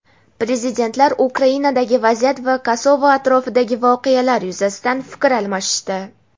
Prezidentlar Ukrainadagi vaziyat va Kosovo atrofidagi voqealar yuzasidan fikr almashishdi.